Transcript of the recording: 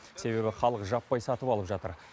себебі халық жаппай сатып алып жатыр